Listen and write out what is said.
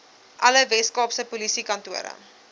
alle weskaapse polisiekantore